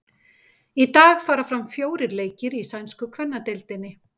Í dag fara fram fjórir leikir í sænsku kvennadeildinni.